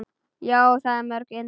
Já, það er mjög indælt.